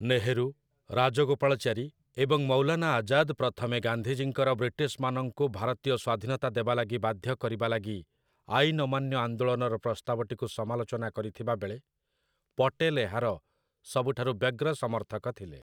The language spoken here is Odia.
ନେହେରୁ, ରାଜଗୋପାଳଚାରୀ ଏବଂ ମୌଲାନା ଆଜାଦ୍ ପ୍ରଥମେ ଗାନ୍ଧିଜୀଙ୍କର ବ୍ରିଟିଶ୍‌ମାନଙ୍କୁ ଭାରତୀୟ ସ୍ୱାଧୀନତା ଦେବା ଲାଗି ବାଧ୍ୟ କରିବା ଲାଗି ଆଇନ୍ ଅମାନ୍ୟ ଆନ୍ଦୋଳନର ପ୍ରସ୍ତାବଟିକୁ ସମାଲୋଚନା କରିଥିବାବେଳେ, ପଟେଲ୍ ଏହାର ସବୁଠାରୁ ବ୍ୟଗ୍ର ସମର୍ଥକ ଥିଲେ ।